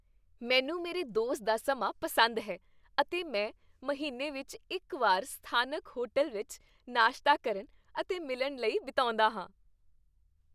ਮੈਨੂੰ ਮੇਰੇ ਦੋਸਤ ਦਾ ਸਮਾਂ ਪਸੰਦ ਹੈ ਅਤੇ ਮੈਂ ਮਹੀਨੇ ਵਿੱਚ ਇੱਕ ਵਾਰ ਸਥਾਨਕ ਹੋਟਲ ਵਿੱਚ ਨਾਸ਼ਤਾ ਕਰਨ ਅਤੇ ਮਿਲਣ ਲਈ ਬਿਤਾਉਂਦਾ ਹਾਂ।